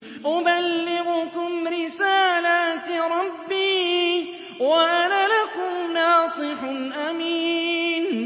أُبَلِّغُكُمْ رِسَالَاتِ رَبِّي وَأَنَا لَكُمْ نَاصِحٌ أَمِينٌ